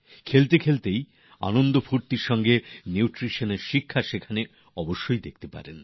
খেলার মধ্যে দিয়েও পুষ্টির শিক্ষা আমোদপ্রমোদের মধ্যে ওখানে অবশ্যই দেখতে পাবেন